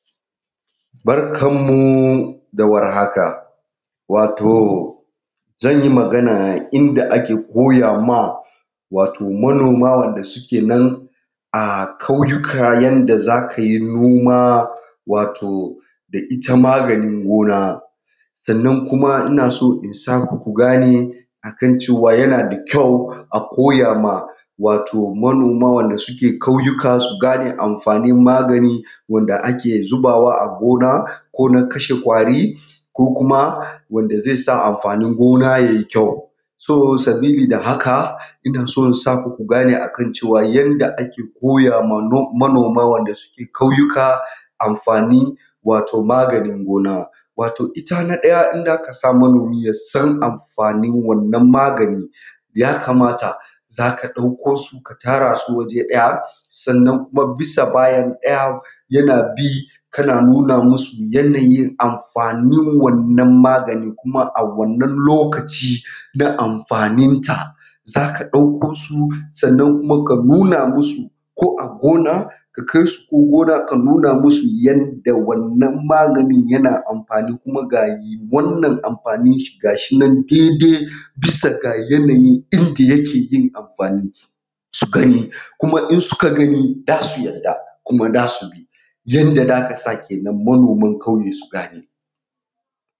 Barkanmu da warhaka wato zan yi Magana inda ake koya ma wato manoma wanda suke nan a ƙauyanku yanda za ka yi noma wato da ita maganin gona. Sannan kuma ina son in sa ku ku gane akan cewa yana da kyau a koya ma wato manoma wanda suke ƙauyuka su gane amfanin magani wanda ake zubawa a gona ko na kashe ƙwari ko kuma wanda zai sa amfanin gona ya yi kyau. So sabili da haka ina so saku ku gane akan cewa yanda ake koya ma manoma wanda suke ƙauyuka amfani wato maganin goma. Wato ita na ɗaya in za ka sa manomi ya san amfanin wannan magani ya kamata, za ka ɗauko su ka tara su waje ɗaya, sannan kuma bisa bayan ɗaya yana bi kana nuna masu yanayin amfanin wannan magani kuma a wannan lokaci na amfaninta za ka ɗauko su sannan kuma ka nuna musu ko a gona ka kai su ko gona ka nuna musu yanda wannan maganin yana amfani kuma ga wannan amfanin shi ga shi nan daidai bisa ga yanayin inda yake yin amfani su gani, kuma in suka gani za su yadda kuma za su bi, yanda za ka sa kenan manoman ƙauye su gane.